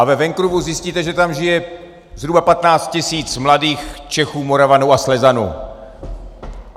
A ve Vancouveru zjistíte, že tam žije zhruba 15 tisíc mladých Čechů, Moravanů a Slezanů.